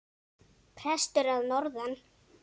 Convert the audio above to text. Prestur að norðan!